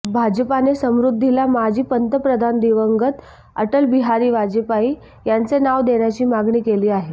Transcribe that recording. भाजपाने समृद्धीला माजी पंतप्रधान दिवंगत अटलबिहारी वाजपेयी यांचे नाव देण्याची मागणी केली आहे